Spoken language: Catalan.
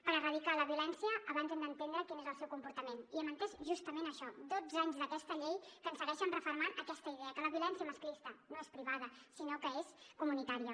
per erradicar la violència abans hem d’entendre quin és el seu comportament i hem entès justament això dotze anys d’aquesta llei que ens segueixen refermant aquesta idea que la violència masclista no és privada sinó que és comunitària